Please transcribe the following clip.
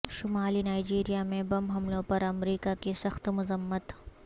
شمالی نائجیریا میں بم حملوں پر امریکہ کی سخت مذمت